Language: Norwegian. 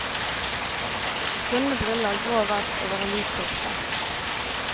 Runde briller, grå vest over en hvit skjorte.